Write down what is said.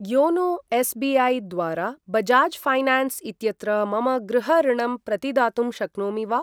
YONO SBI. द्वारा Bajaj finance इत्यत्र मम गृह ऋणम् प्रतिदातुं शक्नोमि वा?